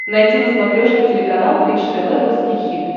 найти на смотрешке телеканал бридж тв русский хит